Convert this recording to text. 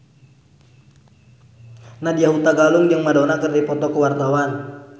Nadya Hutagalung jeung Madonna keur dipoto ku wartawan